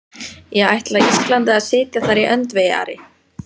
Ég ætla Íslandi að sitja þar í öndvegi, Ari!